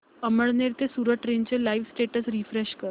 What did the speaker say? अमळनेर ते सूरत ट्रेन चे live status refresh कर